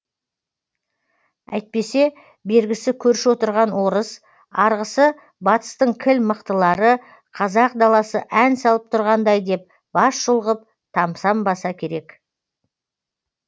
әйтпесе бергісі көрші отырған орыс арғысы батыстың кіл мықтылары қазақ даласы ән салып тұрғандай деп бас шұлғып тамсанбаса керек